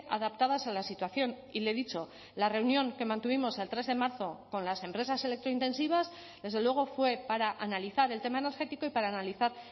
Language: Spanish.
adaptadas a la situación y le he dicho la reunión que mantuvimos el tres de marzo con las empresas electrointensivas desde luego fue para analizar el tema energético y para analizar